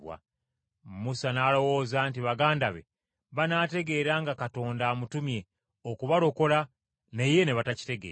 Musa n’alowooza nti baganda be banaategeera nga Katonda amutumye okubalokola, naye ne batakitegeera.